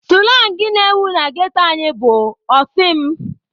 Sụlang na-ewu na ghetto anyị bụ "ọ sị m".